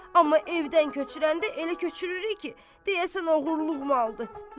Amma evdən köçürəndə elə köçürürük ki, deyəsən oğurluq maldır.